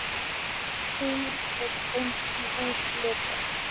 Kynin eru eins í útliti.